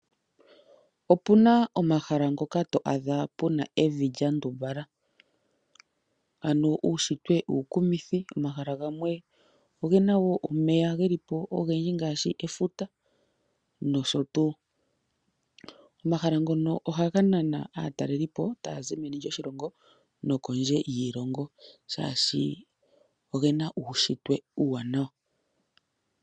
Opuna omahala ngoka to adha puna evi lya ndumbala, ano uunshitwe uukumithi. Omahala gamwe ogena wo omeya geli po ogendji ngaashi efuta nosho tuu. Omahala ngono ohaga nana aataleli po, taya zi meni lyoshilongo nokondje yiilongo, shaashi ogena uunshitwe uuwanawa.